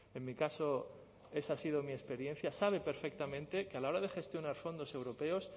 en mi caso esa ha sido mi experiencia sabe perfectamente que a la hora de gestionar fondos europeos